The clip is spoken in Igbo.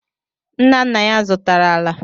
Nna nna ya zụtara ala.